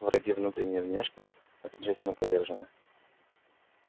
враги внутренние и внешне окончательно повержены